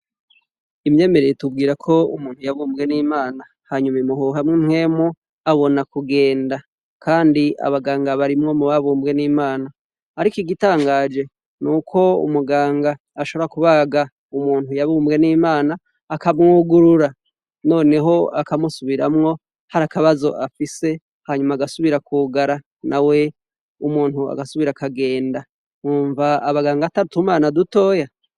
Imyemere itubwirako umuntu yaremye n'Imana hanyuma imuhuhamwo impwemu abona kugenda. Kandi abaganga bari mubabumbwe n'Imana. Ariko igitangaje nuko umuganga ashobora kubaga umuntu yabumbwe n'Imana akamwugurura noneho akamusubiramwo hari akabazo afise hanyuma agasubira kwugara nawe umuntu agasubira akagenda. Wumva abaganga atari utumana dutoya?